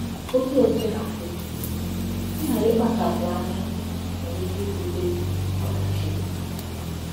Otú o sina dị, ịghara ịkpachapụ anya nwèrè ike ibute ọdachi.